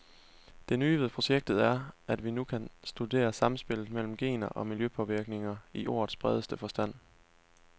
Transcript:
Det nye ved projektet er, at vi nu kan studere samspillet mellem gener og miljøpåvirkninger i ordets bredeste forstand.